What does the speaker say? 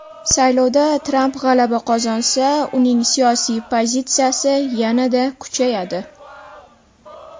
Saylovda Tramp g‘alaba qozonsa, uning siyosiy pozitsiyasi yanada kuchayadi.